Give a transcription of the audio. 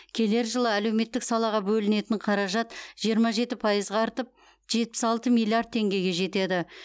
келер жылы әлеуметтік салаға бөлінетін қаражат жиырма жеті пайызға артып жетпіс алты миллиард теңгеге жетеді